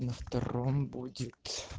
на втором будет